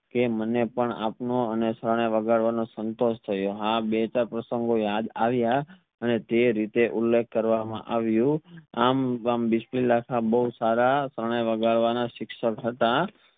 કે મને પણ આપનો શરણાઈ વગાડવાનો સંતોષ થયો આ બે ચાર પ્રસંગો યાદ આવ્યા અને તે રીતે ઉલ્લેસ્ક કરવામાં આવ્યું આમ બિસ્મિલ્લા ખાન બો સારા શરણાઈ વગાડવાના શિક્ષક હતા